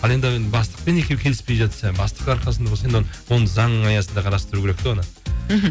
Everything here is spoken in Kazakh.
ал енді бастықпен екеуі келіспей жатса бастық арқасында болса енді оны оны заңның аясында қарастыру керек те оны мхм